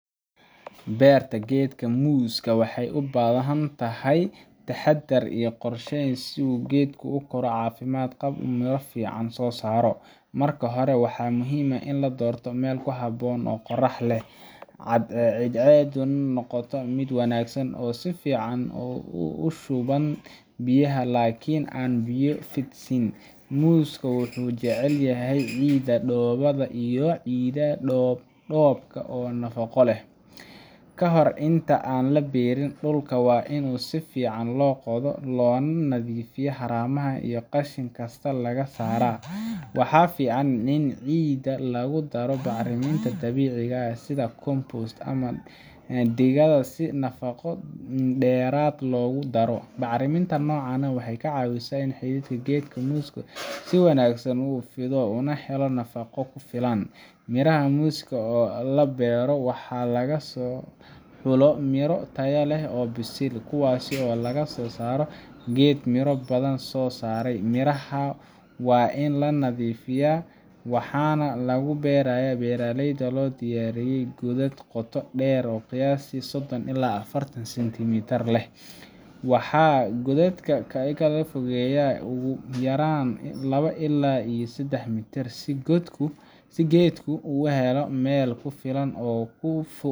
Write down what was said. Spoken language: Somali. Beerta geedka muuska waxay u baahan tahay taxadar iyo qorsheyn si uu geedku u koro caafimaad qab oo miro fiican soo saaro. Marka hore, waxaa muhiim ah in la doorto meel ku habboon oo qorrax leh, ciiddeeduna noqoto mid wanaagsan oo si fiican u shubanta biyaha, laakiin aan biyo fadhiisin. Muuska wuxuu jecel yahay ciidaha dhoobada iyo ciidaha dhoob-dhoobka ah oo nafaqo leh. Ka hor inta aan la beerin, dhulka waa in si fiican loo qodo loona nadiifiyaa, haramaha iyo qashin kasta laga saaraa. Waxaa fiican in ciidda lagu daro bacriminta dabiiciga ah sida compost ama digada si nafaqo dheeraad ah loogu daro. Bacriminta noocan ah waxay ka caawisaa in xididka geedka muuska si wanaagsan u fido, una helo nafaqo ku filan. Miraha muuska ee la beerayo waa in laga soo xulo miro tayo leh oo bisil, kuwaas oo laga soo saaro geed miro badan soo saaray. Mirahan waa in la nadiifiyaa, waxaana lagu beerayaa meelaha loo diyaariyay godad qoto dheer qiyaastii sodon ilaa afartan centimeter dhexroor leh, waxaana godadka la kala fogeeyaa ugu yaraan labo ilaa sedax mitir si geedku u helo meel ku filan oo uu ku